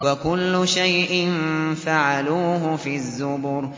وَكُلُّ شَيْءٍ فَعَلُوهُ فِي الزُّبُرِ